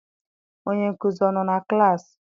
Onye nkuzi ọ nọ na klaasị?